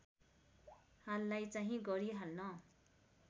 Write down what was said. हाललाई चाहिँ गरिहाल्न